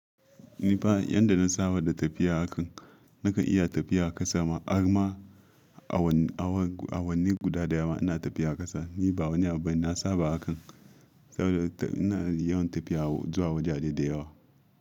Ni fa yanda na saba da tafiya a kan, nakan iya tafiya a ƙasa ma, arma awanni guda daya ma ina tafiya a ƙasa. Ni ba wani abu bane na saba a kan, saboda ina yawan tafiya zuwa wajaje da yawa.